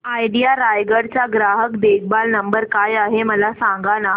idea Raigad चा ग्राहक देखभाल नंबर काय आहे मला सांगाना